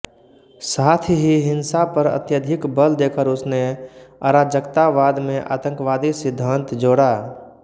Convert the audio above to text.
साथ ही हिंसा पर अत्यधिक बल देकर उसने अराजकतावाद में आतंकवादी सिद्धांत जोड़ा